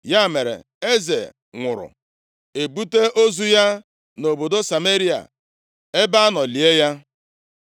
Ya mere, eze nwụrụ, e buta ozu ya nʼobodo Sameria, ebe a nọ lie ya.